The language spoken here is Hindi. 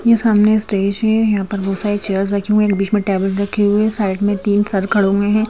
यह सामने स्टेज है यहाँ पर बहुत सारी चेयर्स रखी हुए हैं एक बीच में टेबल रखी हुई है साइड में तीन सर खड़े हुए हैं।